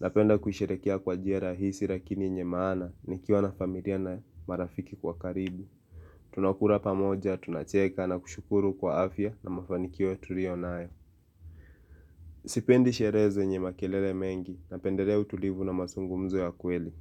Napenda kusherehekea kwa njia rahisi lakini yenye maana nikiwa na familia na marafiki wa karibu. Tunakula pamoja, tunacheka na kushukuru kwa afya na mafanikio tulionayo. Sipendi sherehe zenye makelele mengi napendelea utulivu na mazungumzo ya kweli.